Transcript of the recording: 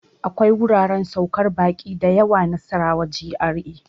akwai wuraren saukar baƙi da yawa Nasarawa GRA.